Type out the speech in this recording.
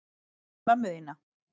Hvað með mömmu þína?